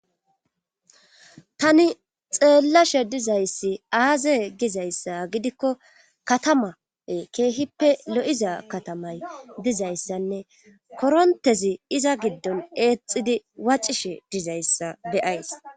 tani xeellashe dizayssi aaze gizayssa gidikko katamae keehippe lo7iza katamay dizayssanne korontezi iza giddon eexidi waccishe dizayssa beyays